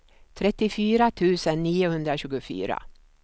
trettiofyra tusen niohundratjugofyra